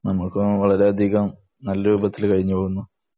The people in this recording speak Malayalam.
നമ്മക്കും വളരെയധികം നല്ല രൂപത്തിൽ കഴിഞ്ഞു പോകുന്നു